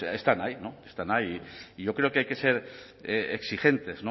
pues están ahí están ahí y yo creo que hay que ser exigentes